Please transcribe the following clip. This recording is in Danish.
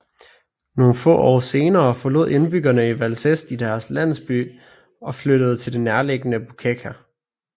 Nogle få årtier senere forlod indbyggerne i Vălcești deres landsby og flyttede til det nærliggende Bucecea